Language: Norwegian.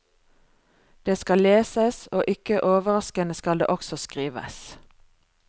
Det skal leses, og ikke overraskende skal det også skrives.